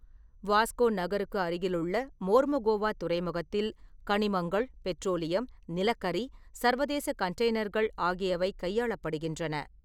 வாஸ்கோ நகருக்கு அருகிலுள்ள மோர்மோகோவா துறைமுகத்தில் கனிமங்கள், பெட்ரோலியம், நிலக்கரி, சர்வதேச கண்டெய்னர்கள் ஆகியவை கையாளப்படுகின்றன.